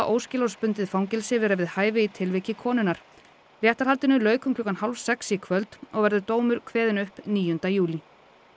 óskilorðsbundið fangelsi vera við hæfi í tilviki konunnar réttarhaldinu lauk um klukkan hálf sex í kvöld og verður dómur kveðinn upp níunda júlí